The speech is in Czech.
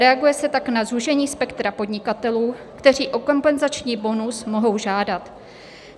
Reaguje se tak na zúžení spektra podnikatelů, kteří o kompenzační bonus mohou žádat.